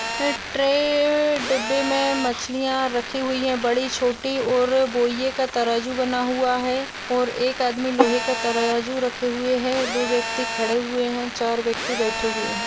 एक ट्रे डिब्बे में मछलिया रखी हुई है बड़ी छोटी और बोईए का तराजू बना हुआ है और एक आदमी लोहे का तराजू रखे हुए है दो व्यक्ति खड़े हुए है चार व्यक्ति बैठे हुए है।